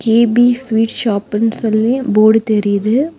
GP sweet ஷாப்புனு சொல்லி board தெரியுது.